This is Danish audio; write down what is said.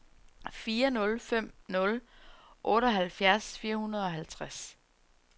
fire nul fem nul otteoghalvfjerds fire hundrede og halvtreds